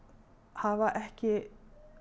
hafa ekki